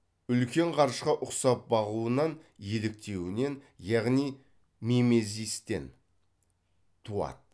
үлкен ғарышқа ұқсап бағуынан еліктеуінен яғни мимезистен туады